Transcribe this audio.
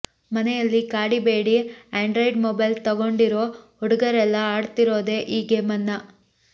ಮನೆಯಲ್ಲಿ ಕಾಡಿ ಬೇಡಿ ಆಂಡ್ರೈಡ್ ಮೊಬೈಲ್ ತಗೊಂಡಿರೋ ಹುಡುಗರೆಲ್ಲ ಆಡ್ತಿರೋದೆ ಈ ಗೇಮನ್ನ